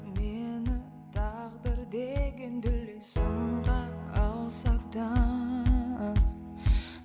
мені тағдыр деген